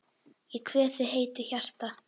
Ég kveð þig heitu hjarta.